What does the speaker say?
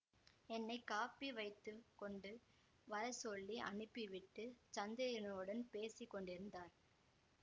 என்னை காப்பி வைத்தும் கொண்டு வரச்சொல்லி அனுப்பிவிட்டுச் சந்திரனோடு பேசி கொண்டிருந்தார்